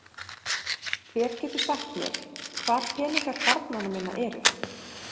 Hver getur sagt mér hvar peningar barnanna minna eru?